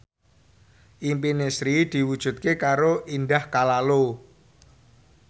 impine Sri diwujudke karo Indah Kalalo